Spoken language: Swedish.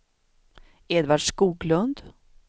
Edvard Skoglund